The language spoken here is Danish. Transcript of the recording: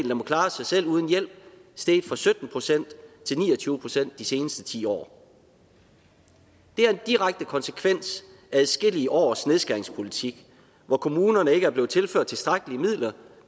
der må klare sig selv uden hjælp steget fra sytten procent til ni og tyve procent de seneste ti år det er en direkte konsekvens af adskillige års nedskæringspolitik hvor kommunerne ikke er blevet tilført tilstrækkelige midler